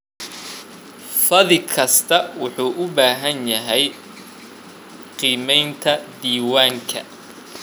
Fadhi kastaa wuxuu u baahan yahay qiimaynta diiwaanka.